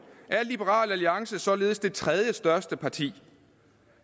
er liberal alliance således det tredjestørste parti